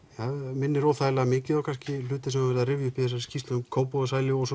minnir óþægilega mikið á hluti sem er verið að rifja upp í þessari skýrslu um Kópavogshæli og